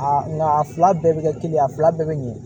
nka a fila bɛɛ bɛ kɛ kelen ye a fila bɛɛ bɛ ɲɛ